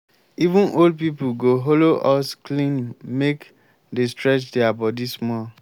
even old people go hollow us clean make dey stretch their body small